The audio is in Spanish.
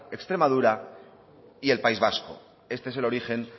extremadura y el país vasco este es el origen